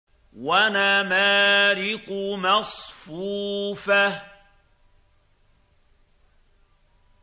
وَنَمَارِقُ مَصْفُوفَةٌ